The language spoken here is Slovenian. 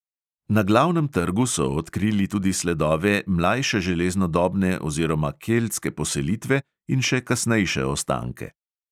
Na glavnem trgu so odkrili tudi sledove mlajšeželeznodobne oziroma keltske poselitve in še kasnejše ostanke.